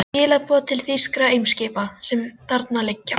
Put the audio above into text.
Skilaboð til þýskra eimskipa, sem þarna liggja.